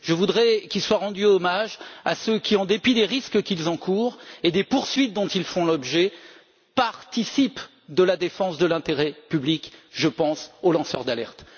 Je voudrais qu'il soit rendu hommage à ceux qui, en dépit des risques qu'ils encourent et des poursuites dont ils font l'objet, participent à la défense de l'intérêt public je pense aux lanceurs d'alerte.